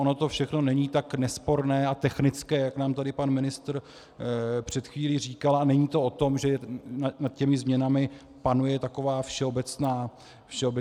Ono to všechno není tak nesporné a technické, jak nám tady pan ministr před chvílí říkal, a není to o tom, že nad těmi změnami panuje taková všeobecná shoda.